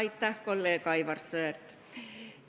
Aitäh, kolleeg Aivar Sõerd!